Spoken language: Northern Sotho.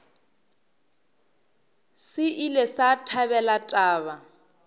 se ile sa thabela taba